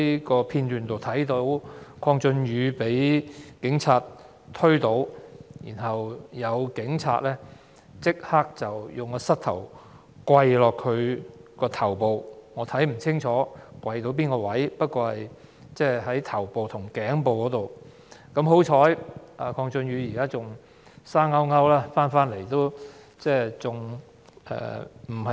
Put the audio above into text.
從片段所見，鄺俊宇議員被警察推倒，然後有警員立刻用膝頭壓在他的頭上，我看不清楚該警員跪在哪個位置，只看到是頭部和頸部之間。